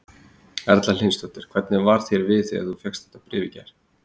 Erla Hlynsdóttir: Hvernig varð þér við þegar þú fékkst þetta bréf í gær?